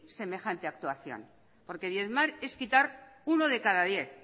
semejante actuación porque diezmar es quitar uno de cada diez